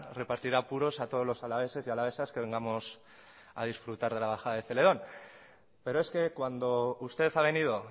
repartirá puros a todos los alaveses y alavesas que vengamos a disfrutar de la bajada de celedón pero es que cuando usted ha venido